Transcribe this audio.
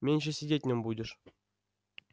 меньше сидеть в нём будешь